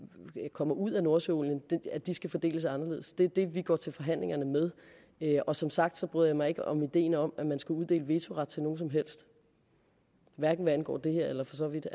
kommer ud af nordsøolien skal fordeles anderledes det er det vi går til forhandlingerne med og som sagt bryder jeg mig ikke om ideen om at man skal uddele vetoret til nogen som helst hverken hvad angår det her eller for så vidt